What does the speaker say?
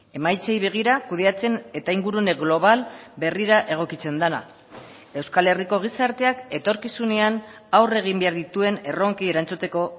emaitzei begira kudeatzen eta ingurune global berrira egokitzen dena euskal herriko gizarteak etorkizunean aurre egin behar dituen erronkei erantzuteko